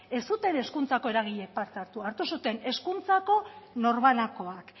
ez zuten hezkuntzako eragileek parte hartu hartu zuten hezkuntzako norbanakoak